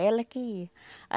Ela que ia.